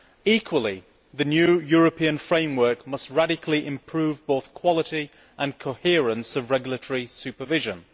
Equally, the new European framework must radically improve both the quality and coherence of regulatory supervision.